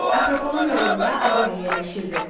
Akropolun yanında Aqora yerləşirdi.